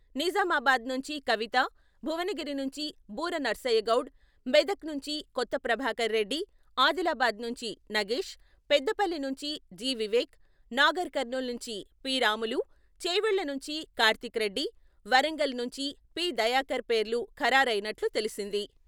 నిజామాబాద్ నుంచి కవిత, భువనగిరి నుంచి బూర నర్సయ్యగౌడ్, మెదక్ నుంచి కొత్త ప్రభాకర్రెడ్డి, ఆదిలాబాద్ నుంచి నగేష్, పెద్దపల్లి నుంచి జి.వివేక్, నాగర్ కర్నూల్ నుంచి పి.రాములు, చేవెళ్ళనుంచి కార్తీక్ రెడ్డి , వరంగల్ నుంచి పి.దయాకర్ పేర్లు ఖరారైనట్లు తెలిసింది.